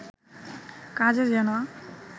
কাজে যেন